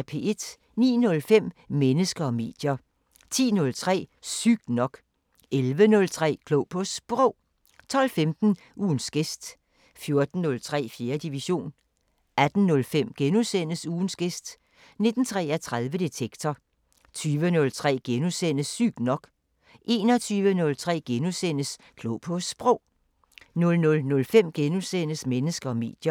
09:05: Mennesker og medier 10:03: Sygt nok 11:03: Klog på Sprog 12:15: Ugens gæst 14:03: 4. division 18:05: Ugens gæst * 19:33: Detektor 20:03: Sygt nok * 21:03: Klog på Sprog * 00:05: Mennesker og medier *